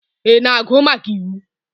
Ị na-agụ maka iwu?